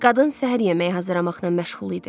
Qadın səhər yeməyi hazırlamaqla məşğul idi.